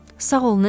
Sağ ol, Nensi.